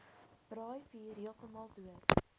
braaivuur heeltemal dood